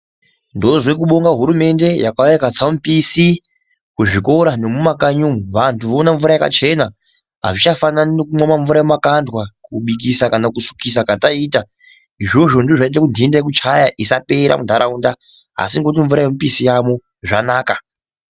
Ndozwe kubonge hurumende yakauya ikatsa mupisi kuzvikora nemumakanyi umwo vantu voona mvura yakachena azvichafanani nekumwa mvura yemumakandwa kubikisa kana kusukisa kwataiita izvozvo ndizvo zvaiita kuti ntenda yokuchaya isapera muntaraunda asi ngokuti mvura yomupisi yaamwo zvanaka.